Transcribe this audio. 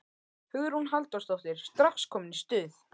Hugrún Halldórsdóttir: Strax komin í stuð?